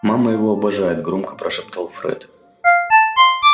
мама его обожает громко прошептал фред